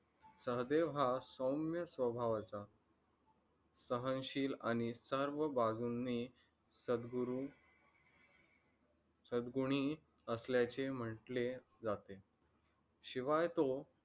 सहदेव हा सौम्य स्वभावाचा सहनशील आणि सर्व बाजूंनी सद्गुरू, सद्गुणी असल्याचे म्हंटले जाते. शिवाय तो